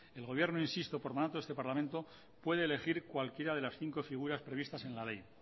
el gobierno insisto por mandato de este parlamento puede elegir cualquiera de las cinco figuras previstas en la ley